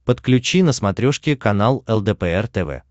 подключи на смотрешке канал лдпр тв